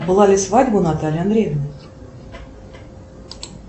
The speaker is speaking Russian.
была ли свадьба у натальи андреевны